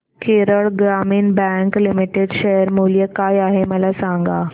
Kerala Gramin bank limited share मूल्य काय आहे मला सांगा